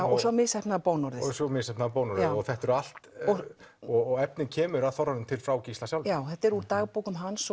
og svo misheppnaða bónorðið svo misheppnaða bónorðið þetta er allt efnið kemur að þorranum til frá Gísla sjálfum já þetta er úr dagbókum hans